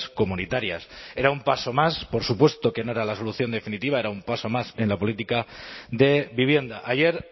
comunitarias era un paso más por supuesto que no era la solución definitiva era un paso más en la política de vivienda ayer